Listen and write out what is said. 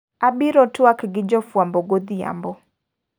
Abiro tuak gi jofwambo godhiambo.